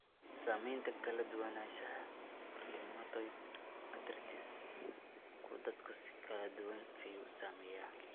Saamaynta Kala duwanaanshaha Rheumatoid arthritis-ku dadka si kala duwan ayuu u saameeyaa.